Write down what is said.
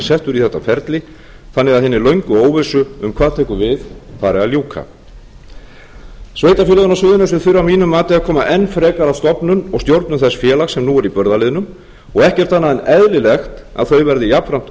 settur í þetta ferli þannig að hinni löngu óvissu um hvað tekur við fari að ljúka sveitarfélögin á suðurnesjum þurfa að mínu mati að koma enn frekar að stofnun og stjórnun þess félags sem nú er í burðarliðnum og ekkert annað en eðlilegt að þau verði jafnframt